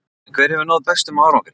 En hver hefur náð bestum árangri?